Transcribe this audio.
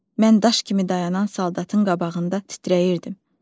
Mən daş kimi dayanan saldatın qabağında titrəyirdim.